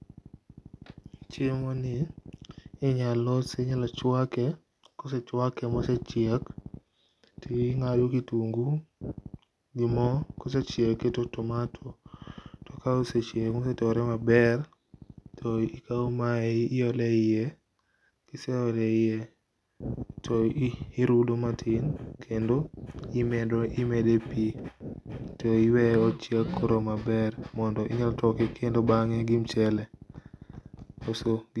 Chiemo ni inyal losi, inyalo chwake, kosechwake mosechiek tingado kitungu gi moo kosechiek tiketo tomato, kosechiek motore maber to ikaw mae iole iye, kiseole iye, tirudo matin kendo imedo e pii tiweyo ochieko koro maber, to inyalo toke bange gi mchele.